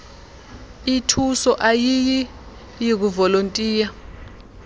ithuso ayiyiy kuvolontiya